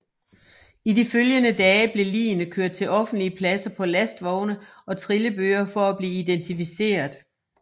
I de følgende dage blev ligene kørt til offentlige pladser på lastvogne og trillebøre for at blive identificeret